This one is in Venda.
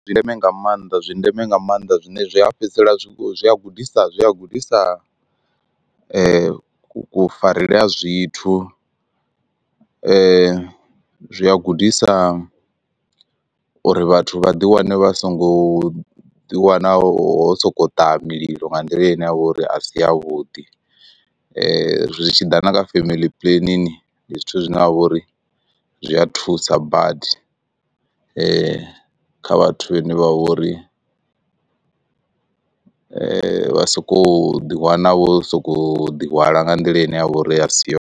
Ndi zwa ndeme nga maanḓa zwi ndeme nga maanḓa zwine zwa fhedzisela zwi zwi a gudisa zwi a gudisa kufarele ha zwithu zwi a gudisa uri vhathu vha ḓi wane vha songo ḓiwana ho sokou ṱaha mililo nga nḓila ine ya vha uri a si ya vhuḓi zwitshiḓa na nga family puḽenini ndi zwithu zwine ha vha uri zwi a thusa badi. Kha vhathu vhane vha vhori vha sokou ḓiwana vho sokou ḓi hwala nga nḓila ine ya vha uri a si yone.